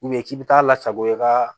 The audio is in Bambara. k'i bɛ taa lasago i ka